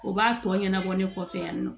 O b'a tɔ ɲɛnabɔ ne kɔfɛ yan nɔ